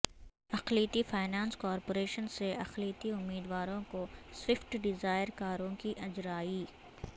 اقلیتی finance corporation سے اقلیتی امیدواروں کوسوئفٹ ڈیزائر کاروں کی اجرائی